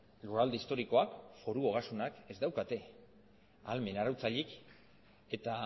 lurralde historikoak foru ogasunek ez daukate ahalmen arautzailerik eta